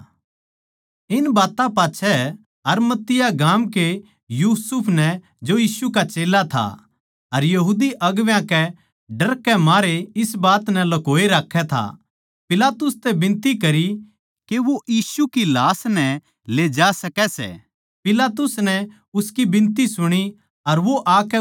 इन बात्तां पाच्छै अरिमतिया गाम के यूसुफ नै जो यीशु का चेल्ला था पर यहूदी अगुवां कै डर के मारे इस बात नै ल्कोए राक्खै था पिलातुस तै बिनती करी के वो यीशु की लाश ले जा सकै सै पिलातुस नै उसकी बिनती सुणी अर वो आकै उसकी लाश लेग्या